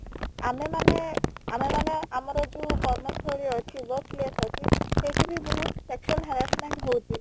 ଆମେ ମାନେ ଆମେମାନେ ଆମର ଯୋଉ କର୍ମସ୍ଥଳୀ ଅଛି workplace ଅଛି ସେଠି ବି ବହୁତ sexual harassment ହଉଛି